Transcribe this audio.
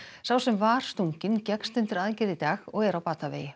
sá sem var stunginn gekkst undir aðgerð í dag og er á batavegi